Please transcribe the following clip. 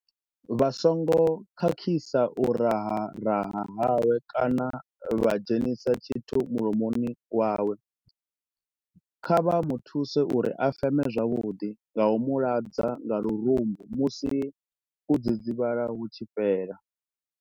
Vha songo khakhisa u raharaha hawe kana vha dzhenisa tshithu mulomoni wawe. Kha vha mu thuse uri a feme zwavhuḓi nga u mu ladza nga lurumbu musi u dzidzivhala hu tshi fhela.